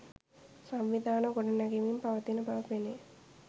සංවිධාන ගොඩ නැගෙමින් පවතින බව පෙනේ.